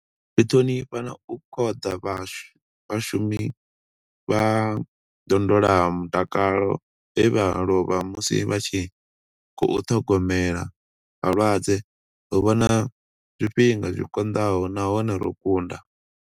Ri ṱhonifha na u khoḓa vhashumi vha ndondolamutakalo vhe vha lovha musi vha tshi khou ṱhogomela vhalwadze. Ro vhona zwifhinga zwi konḓaho nahone ro kunda.